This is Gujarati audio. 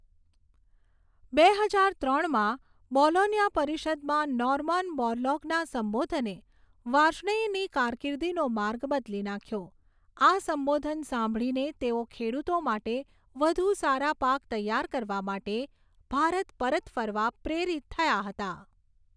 બે હજાર ત્રણમાં બોલોન્યા પરિષદમાં નોર્મન બોરલોગના સંબોધને વાર્ષ્ણેયની કારકીર્દિનો માર્ગ બદલી નાખ્યો. આ સંબોધન સાંભળીને તેઓ ખેડૂતો માટે વધુ સારા પાક તૈયાર કરવા માટે ભારત પરત ફરવા પ્રેરિત થયા હતા.